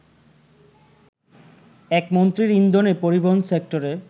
একমন্ত্রীর ইন্ধনে পরিবহন সেক্টরে